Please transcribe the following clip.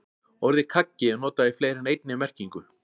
Orðið kaggi er notað í fleiri en einni merkingu.